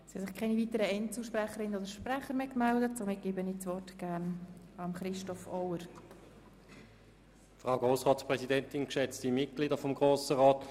Es gibt keine weiteren Wortmeldungen, daher gebe ich gerne Herrn Staatsschreiber Auer das Wort.